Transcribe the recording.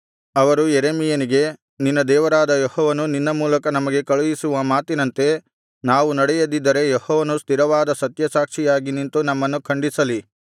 ಅವರು ಯೆರೆಮೀಯನಿಗೆ ನಿನ್ನ ದೇವರಾದ ಯೆಹೋವನು ನಿನ್ನ ಮೂಲಕ ನಮಗೆ ಕಳುಹಿಸುವ ಮಾತಿನಂತೆ ನಾವು ನಡೆಯದಿದ್ದರೆ ಯೆಹೋವನು ಸ್ಥಿರವಾದ ಸತ್ಯಸಾಕ್ಷಿಯಾಗಿ ನಿಂತು ನಮ್ಮನ್ನು ಖಂಡಿಸಲಿ